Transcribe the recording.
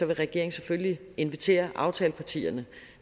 vil regeringen selvfølgelig invitere aftalepartierne